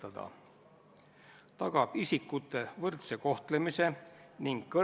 Aga stenogrammi huvides ütlen, et ta võtab telefoni vastu.